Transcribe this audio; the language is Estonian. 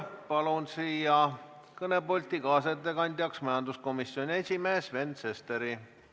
Palun siia kõnepulti kaasettekandeks majanduskomisjoni esimehe Sven Sesteri.